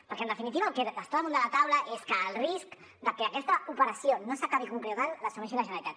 perquè en definitiva el que està damunt de la taula és que el risc de que aquesta operació no s’acabi concretant l’assumeixi la generalitat